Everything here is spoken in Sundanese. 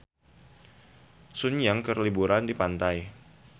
Sun Yang keur liburan di pantai